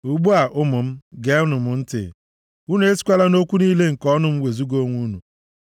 Ugbu a ụmụ m, geenụ m ntị, unu esikwala nʼokwu niile nke ọnụ m wezuga onwe unu.